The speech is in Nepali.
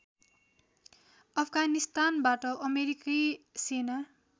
अफगानिस्तानबाट अमेरिकी सेना